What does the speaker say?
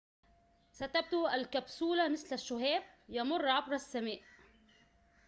ستبدو الكبسولة مثل شهاب يمر عبر السماء